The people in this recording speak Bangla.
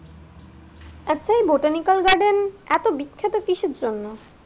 আচ্ছা এই বোটানিক্যাল গার্ডেন এত বিখ্যাত কিসের জন্য?